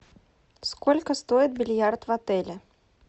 сколько стоит бильярд в отеле